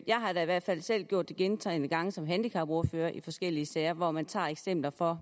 har da i hvert fald selv gjort det gentagne gange som handicapordfører i forskellige sager hvor man tager eksempler fra